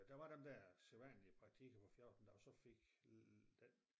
Der var den der sædvanlige praktik jeg var 14 da og så fik den